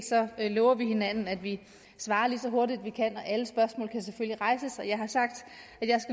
lover vi hinanden at vi svarer lige så hurtigt vi kan alle spørgsmål kan selvfølgelig rejses og jeg har sagt at jeg